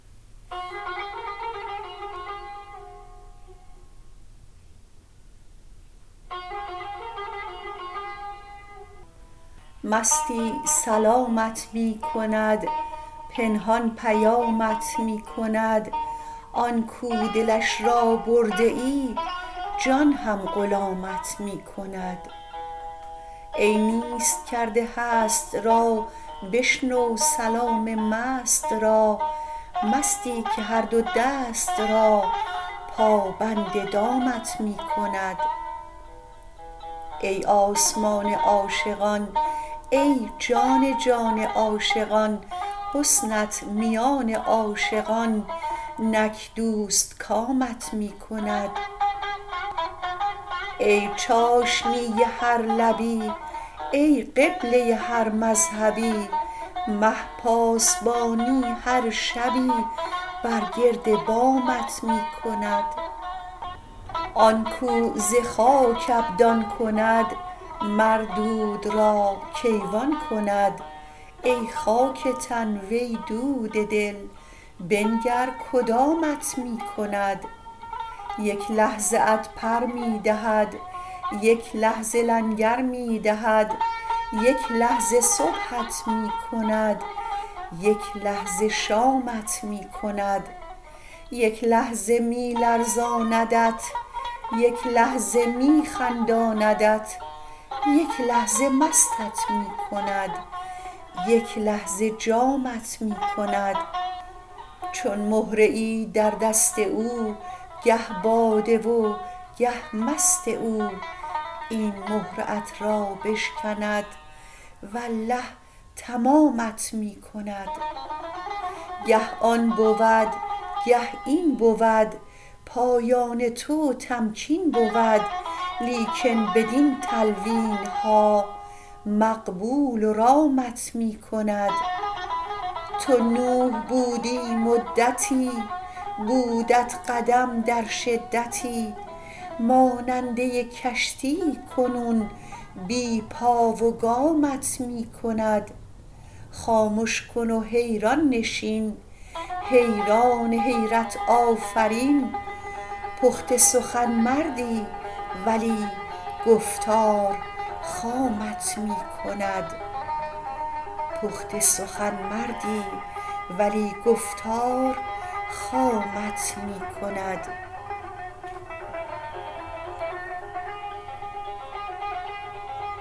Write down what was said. مستی سلامت می کند پنهان پیامت می کند آن کاو دلش را برده ای جان هم غلامت می کند ای نیست کرده هست را بشنو سلام مست را مستی که هر دو دست را پابند دامت می کند ای آسمان عاشقان ای جان جان عاشقان حسنت میان عاشقان نک دوستکامت می کند ای چاشنی هر لبی ای قبله هر مذهبی مه پاسبانی هر شبی بر گرد بامت می کند آن کاو ز خاک ابدان کند مر دود را کیوان کند ای خاک تن وی دود دل بنگر کدامت می کند یک لحظه ات پر می دهد یک لحظه لنگر می دهد یک لحظه صبحت می کند یک لحظه شامت می کند یک لحظه می لرزاندت یک لحظه می خنداندت یک لحظه مستت می کند یک لحظه جامت می کند چون مهره ای در دست او گه باده و گه مست او این مهره ات را بشکند والله تمامت می کند گه آن بود گه این بود پایان تو تمکین بود لیکن بدین تلوین ها مقبول و رامت می کند تو نوح بودی مدتی بودت قدم در شدتی ماننده کشتی کنون بی پا و گامت می کند خامش کن و حیران نشین حیران حیرت آفرین پخته سخن مردی ولی گفتار خامت می کند